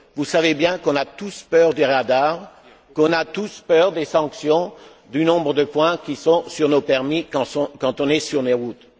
Vous savez bien qu'on a tous peur du radar, qu'on a tous peur des sanctions, du nombre de points qui sont sur nos permis quand on est sur les routes.